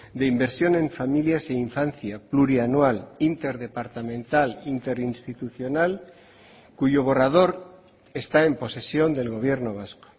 de inversión en familias e infancia plurianual interdepartamental interinstitucional cuyo borrador está en posesión del gobierno vasco